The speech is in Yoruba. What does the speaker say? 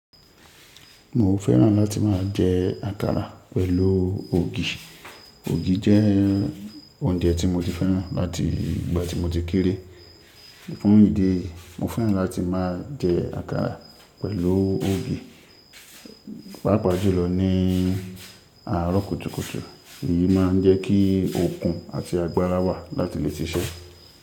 Mo fẹ́ràn láti máa jẹ àkàrà pẹ̀lú ògì. Ògì jẹ́ oúnjẹ tí mo ti fẹ́ràn láti ìgbà tí mo ti kéré. Fún ìdí èyí, mo fẹ́ràn láti máa jẹ àkàrà pẹ̀lú ògì. Pápa jùlọ ní àárọ̀ kùtùkùtù, èyí máa ń jẹ́ kí okun àti agbára wà láti lè ṣiṣẹ́.